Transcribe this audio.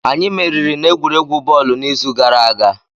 Anyị meriri n'egwuregwu bọọlụ n'izu gara aga